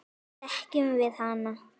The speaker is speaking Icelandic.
Þekkjum við hana?